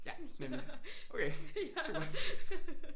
Ja men okay super